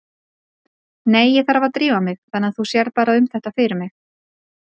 Nei, ég þarf að drífa mig þannig að þú sérð bara um þetta fyrir mig